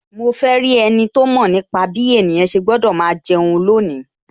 Mo fe rí ẹniti ó mọ̀ nípa bí ènìyàn ṣe gbọ́dọ̀ máa jẹun lónìí